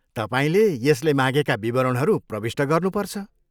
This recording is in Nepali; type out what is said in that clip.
तपाईँले यसले मागेका विवरणहरू प्रविष्ट गर्नुपर्छ।